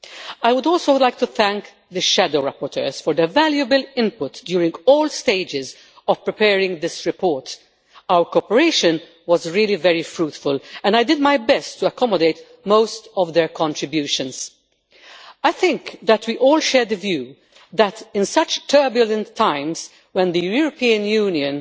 I would also like to thank the shadow rapporteurs for their valuable input during all stages of preparing this report our cooperation was very fruitful and I did my best to accommodate most of their contributions. I think we all share the view that in such turbulent times, when the European Union